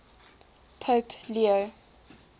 pope leo